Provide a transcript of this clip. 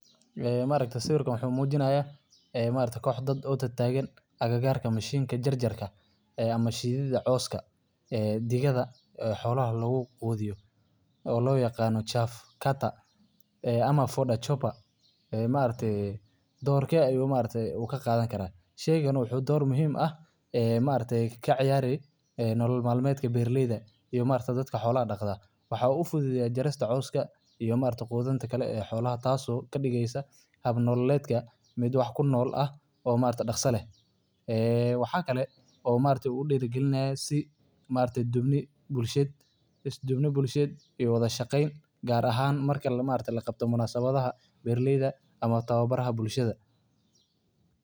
Mashiinka waa qalab muhiim ah oo loo isticmaalo beeralayda si ay u gooyaan, u kala saaraan, una nadiifiyaan digirta ka dib marka la goosto dalagga. Qalabkani wuxuu leeyahay hab farsamo oo casri ah oo awood u leh inuu si dhaqso leh oo hufan u kala saaro digirta iyo caleemaha, dhoobada, iyo wasakhda kale ee ku dhex jirta dalagga. Isticmaalka wuxuu yareeyaa shaqada gacanta.